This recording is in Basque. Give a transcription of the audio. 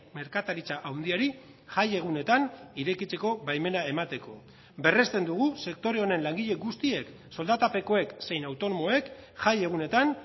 merkataritza handiari jai egunetan irekitzeko baimena emateko berresten dugu sektore honen langile guztiek soldatapekoek zein autonomoek jai egunetan